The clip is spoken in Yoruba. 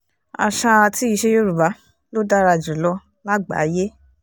àṣà àti ìṣe yorùbá ló dára jù lọ lágbàáyé